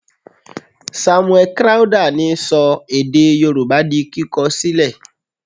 Samuel Crowther ni sọ èdè yorùbá di kíkọ sílẹ̀.